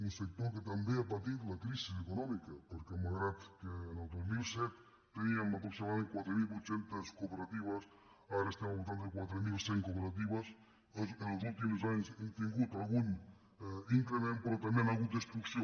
un sector que també ha patit la crisi econòmica perquè malgrat que el dos mil set teníem aproximadament quatre mil vuit cents cooperatives ara estem al voltant de quatre mil cent cooperatives els últims anys hem tingut algun increment però també hi ha hagut destrucció